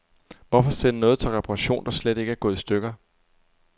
Hvorfor sende noget til reparation, der slet ikke er gået i stykker.